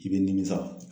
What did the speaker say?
I bɛ nimisa